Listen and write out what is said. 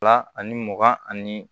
Fila ani mugan ani